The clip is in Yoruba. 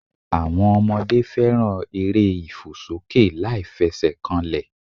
Àwọn Ọmọdé fẹ́ràn eré ìfòsókè láìfesèkanlè